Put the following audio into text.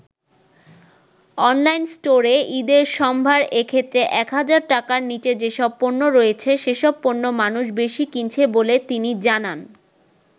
Online স্টোরে ঈদের সম্ভার এক্ষেত্রে ১০০০ টাকার নিচে যেসব পণ্য রয়েছে সেসব পণ্য মানুষ বেশি কিনছে বলে তিনি জানান।